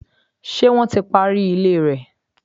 Ṣé wọ́n ti parí ilé rẹ?